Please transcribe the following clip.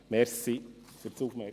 Danke für die Aufmerksamkeit.